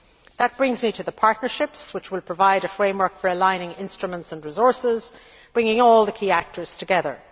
That brings me to the partnerships which will provide a framework for aligning instruments and resources, bringing all the key actors together.